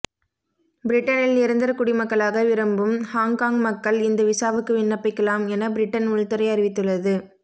பிரிட்டனில் நிரந்தர குடிமக்களாக விரும்பும் ஹாங்காங் மக்கள் இந்த விசாவுக்கு விண்ணப்பிக்கலாம் என பிரிட்டன் உள்துறை அறிவித்துள்ளது